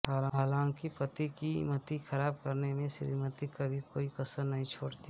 हालांकि पति की मति खराब करने में श्रीमती कभी कोई कसर नहीं छोड़ती